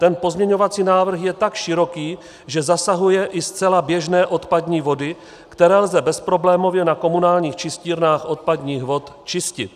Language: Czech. Ten pozměňovací návrh je tak široký, že zasahuje i zcela běžné odpadní vody, které lze bezproblémově na komunálních čistírnách odpadních vod čistit.